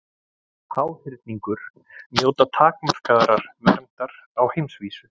Háhyrningur njóta takmarkaðrar verndar á heimsvísu.